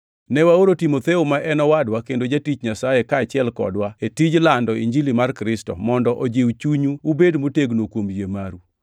Ne waoro Timotheo, ma en owadwa kendo jatich Nyasaye kaachiel + 3:2 Loko moko machon wacho ni, “Misumba mar Injili kaachiel kodwa”. kodwa e tij lando Injili mar Kristo, mondo ojiw chunyu ubed motegno kuom yie maru,